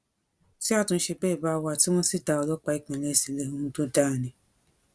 tí àtúnṣe bẹẹ bá wà tí wọn sì dá ọlọpàá ìpínlẹ sílẹ ohun tó dáa ni